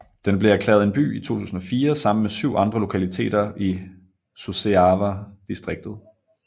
Den blev erklæret en by i 2004 sammen med syv andre lokaliteter i Suceava distriktet